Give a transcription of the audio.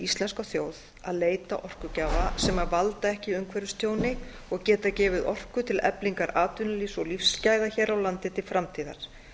íslenska þjóð að leita orkugjafa sem valda ekki umhverfistjóni og geta gefið orku til eflingar atvinnulífs og lífsgæða hér á landi til framtíðar